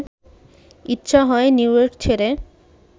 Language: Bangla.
ইচ্ছা হয় নিউইয়র্ক ছেড়ে